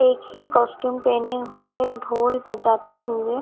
एक ही कॉस्ट्यूम पहने हुए ढोल बजाते हुए--